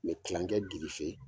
Me kilankɛ girife.